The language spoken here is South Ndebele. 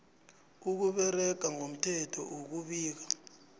ukusebenza ngomthetho ukubika